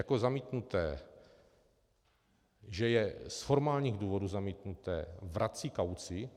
Jako zamítnuté... že je z formálních důvodů zamítnuté, vrací kauci.